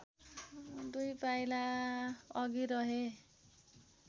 दुई पाइला अघि रहे